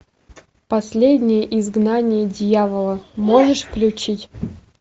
последнее изгнание дьявола можешь включить